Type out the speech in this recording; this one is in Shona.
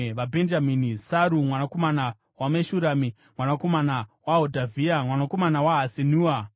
VaBhenjamini: Saru mwanakomana waMeshurami, mwanakomana waHodhavhia, mwanakomana waHasenua;